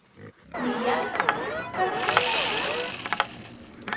Níels, hvernig er dagskráin?